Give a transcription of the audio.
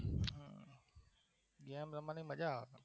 Game રમવાની મજા આવે